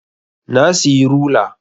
Na siyi rula